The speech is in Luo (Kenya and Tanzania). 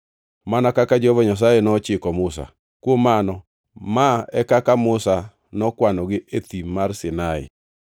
mana kaka Jehova Nyasaye nochiko Musa. Kuom mano ma e kaka Musa nokwanogi e Thim mar Sinai.